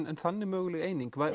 en þannig möguleg eining